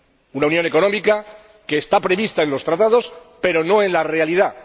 una unión económica que está prevista en los Tratados pero no en la realidad.